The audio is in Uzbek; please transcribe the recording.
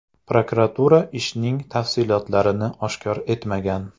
Prokuratura ishning tafsilotlarini oshkor etmagan.